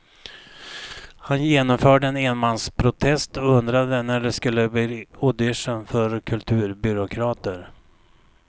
Han genomförde en enmansprotest och undrade när det skulle bli audition för kulturbyråkrater.